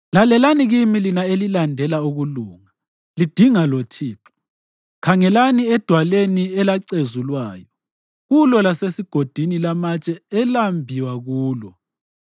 “Lalelani kimi lina elilandela ukulunga lidinga loThixo: Khangelani edwaleni elacezulwa kulo lasegodini lamatshe elambiwa kulo;